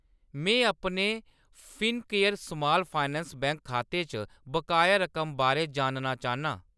मैं अपने Fincare small finance bank खाते च बकाया रकम बारै जानना चाह्‌न्नां।